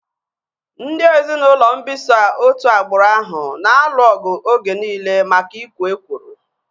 Ndị ezinaụlọ mbisa otu agbụrụ ahu na-alụ ọgụ oge nille maka ikwo ekworo